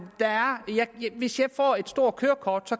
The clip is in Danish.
hvis jeg får et stort kørekort